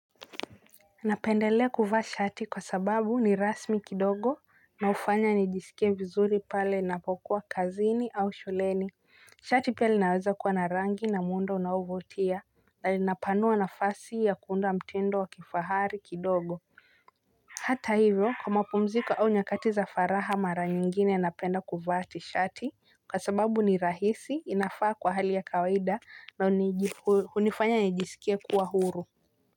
Napendelea kuvaa shati kwa sababu ni rasmi kidogo na hufanya nijisikie vizuri pale napokuwa kazini au shuleni. Shati pia linaweza kuwa narangi na muundo unaovutia. Na lina panua nafasi ya kuunda mtindo wa kifahari kidogo. Hata hivyo kwa mapumziko au nyakati za faraha mara nyingine napenda kuvaa tishati kwa sababu ni rahisi inafaa kwa hali ya kawaida na hunifanya nijisikie kuwa huru.